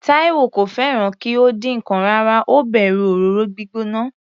Taiwo kò fẹ́ràn kí ó dín ǹkan rárá, ó bẹ̀rù òróró gbígbóná.